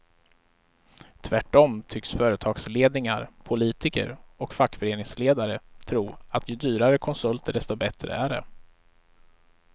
Tvärtom tycks företagsledningar, politiker och fackföreningsledare tro att ju dyrare konsulter desto bättre är det.